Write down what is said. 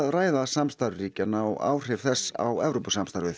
ræða samstarf ríkjanna og áhrif þess á Evrópusamstarfið